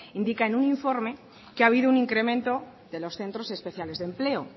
indica un informe que ha habido un incremento de los centros especiales de empleo